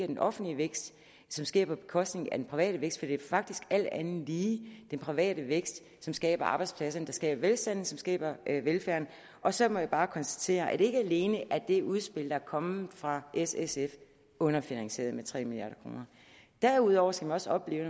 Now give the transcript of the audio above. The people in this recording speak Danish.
den offentlige vækst som sker på bekostning af den private vækst for det er faktisk alt andet lige den private vækst som skaber arbejdspladserne der skaber velstanden som skaber velfærden og så må jeg bare konstatere at ikke alene er det udspil der er kommet fra s sf underfinansieret med tre milliard kroner derudover skal man også opleve